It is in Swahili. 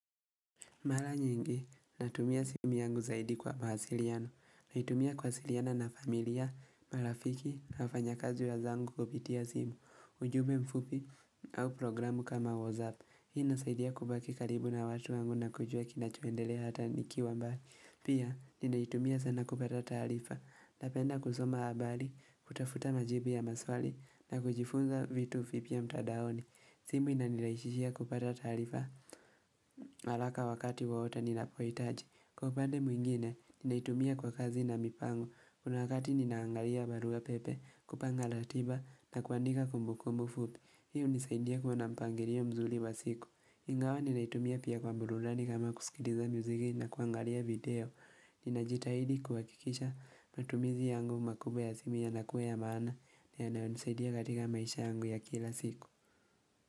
Mala nyingi, natumia simu yangu zaidi kwa mawasiliano, na itumia kuasiliana na familia, marafiki, na wafanya kazi wenzangu kupitia simu, ujube mfupi, au programu kama WhatsApp. Hii nasaidia kubaki karibu na watu wangu na kujua kinachoendele hata nikiwa mbali. Pia, nina itumia sana kupata tarifa, napenda kusoma habari, kutafuta majibu ya maswali, na kujifunza vitu vipya mtadaoni. Simu inanilaishishia kupata tarifa alaka wakati wawota nina poitaji. Kwa upande mwingine, ninaitumia kwa kazi na mipango. Kuna wakati ninaangalia barua pepe, kupanga latiba na kuandika kumbu kumbu fupi. Hii hunisaidia kua nampangirio mzuli wa siku. Ingawa ninaitumia pia kwa burudani kama kusikitiza muziki na kuangalia video. Ninajitahidi kuhakikisha matumizi yangu makubwa ya simu yanakua ya maana. Nianaonisaidia katika maisha yangu ya kila siku.